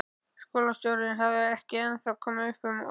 Skólastjórinn hafði ekki ennþá komið upp orði.